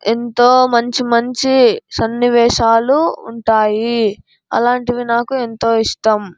ఎంతో మంచి మంచి సన్నివేశాలు ఉంటాయి. అలాంటివి నాకు ఎంతో ఇష్టం.